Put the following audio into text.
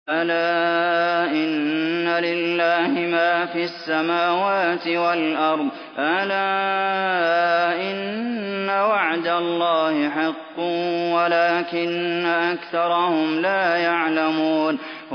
أَلَا إِنَّ لِلَّهِ مَا فِي السَّمَاوَاتِ وَالْأَرْضِ ۗ أَلَا إِنَّ وَعْدَ اللَّهِ حَقٌّ وَلَٰكِنَّ أَكْثَرَهُمْ لَا يَعْلَمُونَ